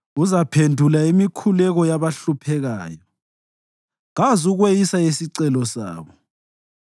Uzaphendula imikhuleko yabahluphekayo; kazukweyisa isicelo sabo.